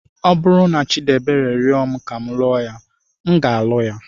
Ọ bụrụ na Chidiebere rịọ m ka m lụọ ya, m ga-alụ ya.